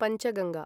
Panchganga